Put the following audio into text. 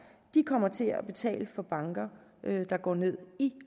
kommer til at betale for banker der går ned i